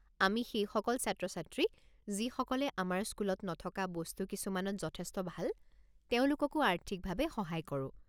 আমি সেইসকল ছাত্ৰ-ছাত্ৰী, যিসকলে আমাৰ স্কুলত নথকা বস্তু কিছুমানত যথেষ্ট ভাল, তেওঁলোককো আৰ্থিকভাৱে সহায় কৰো।